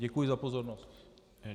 Děkuji za pozornost.